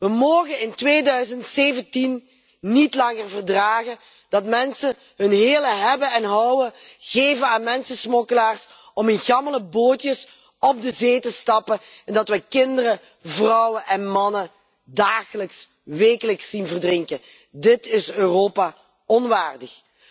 We mogen in 2017 niet langer verdragen dat mensen hun hele hebben en houden geven aan mensensmokkelaars om in gammele bootjes de zee op te gaan, en dat kinderen, vrouwen en mannen dagelijks, wekelijks verdrinken. Dit is Europa onwaardig.